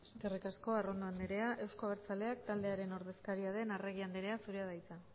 eskerrik asko arrondo andrea euzko abertzaleak taldearen ordezkaria den arregi andrea zurea da hitza